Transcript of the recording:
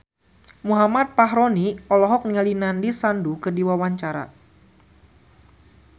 Muhammad Fachroni olohok ningali Nandish Sandhu keur diwawancara